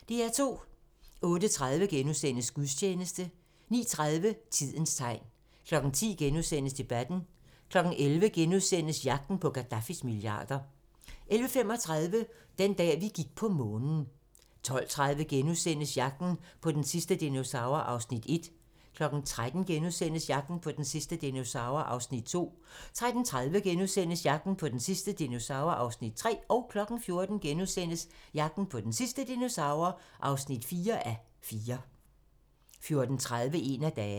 08:30: Gudstjeneste * 09:30: Tidens tegn 10:00: Debatten * 11:00: Jagten på Gaddafis milliarder * 11:35: Den dag, vi gik på Månen 12:30: Jagten på den sidste dinosaur (1:4)* 13:00: Jagten på den sidste dinosaur (2:4)* 13:30: Jagten på den sidste dinosaur (3:4)* 14:00: Jagten på den sidste dinosaur (4:4)* 14:30: En af dagene